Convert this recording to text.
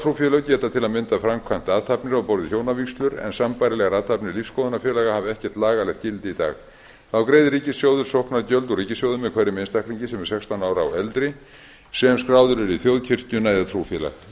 trúfélög geta til að mynda framkvæmt athafnir á borð við hjónavígslur en sambærilegar athafnir lífsskoðanafélaga hafa ekkert lagalegt gildi í dag þá greiðir ríkissjóður sóknargjöld úr ríkissjóði með hverjum einstaklingi sem er sextán ára og eldri sem skráðu er í þjóðkirkjuna eða trúfélag